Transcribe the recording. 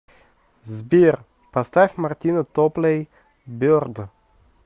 сбер поставь мартина топлей берд